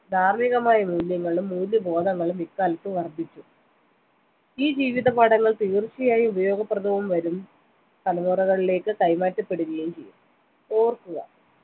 ധാർമികമായ മൂല്യങ്ങളും മൂല്യ ബോധങ്ങളും ഇക്കാലത്ത് വർധിച്ചു ഈ ജീവിതപാഠങ്ങൾ തീർച്ചയായും ഉപയോഗപ്രദവും വരും തലമുറകളിലേക്ക് കൈമാറ്റപ്പെടുകയും ചെയ്യും ഓർക്കുക